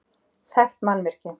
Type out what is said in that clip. Þekkt mannvirki